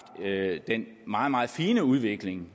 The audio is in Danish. den meget meget fine udvikling